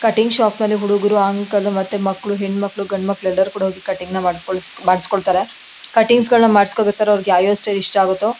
Cutting shop ಅಲ್ಲಿ ಹುಡಗೂರು uncle ಮಕ್ಳು ಮತ್ ಹೆಣ್ ಮಕ್ಳು ಗಂಡ್ ಮಕ್ಳು ಎಲ್ಲರು ಕೂಡ ಹೋಗಿ ಕಟಿಂಗ್ ನ ಮಾಡ್ಸ್ಕೊಳ್ ಮಾಡ್ಕೊಳ್ಸ್ತಾರೆ. ಕಟ್ಟಿಂಗ್ಸ್ ನ ಮಾಡ್ಸ್ಕೊಳ್ಬೇಕಾದ್ರೆ ಅವರಿಗೆ ಯಾವ್ ಯಾವ್ ಸ್ಟೈಲ್ ಇಷ್ಟ ಆಗತ್ತೋ --